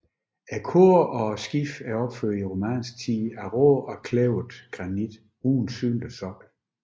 Kor og skib er opført i romansk tid af rå og kløvet granit uden synlig sokkel